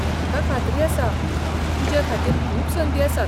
म्हाका खात्री आसा तूजेखातीर खूब संदी आसात.